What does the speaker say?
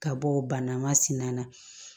Ka bɔ o bana masina na